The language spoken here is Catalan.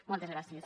moltes gràcies